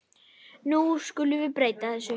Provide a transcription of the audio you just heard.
Nú skulum við breyta þessu.